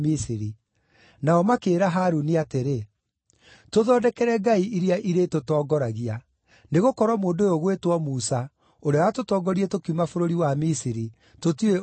Nao makĩĩra Harũni atĩrĩ, ‘Tũthondekere ngai iria irĩtũtongoragia. Nĩgũkorwo mũndũ ũyũ ũgwĩtwo Musa, ũrĩa watũtongoririe tũkiuma bũrũri wa Misiri, tũtiũĩ ũrĩa onete!’